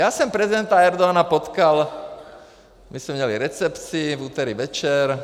Já jsem prezidenta Erdogana potkal, my jsme měli recepci, v úterý večer.